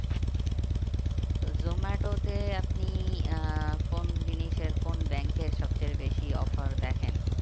তো জোমাটোতে আপনি আহ কোন জিনিসের কোন bank এর সব চেয়ে বেশি offer দেখেন?